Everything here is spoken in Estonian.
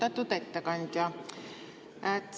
Austatud ettekandja!